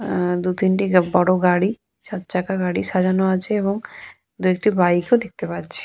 আহ দু তিনটে বড় গাড়ি চারচাকা গাড়ি সাজানো আছে এবং দু একটা বাইক ও দেখতে পাচ্ছি।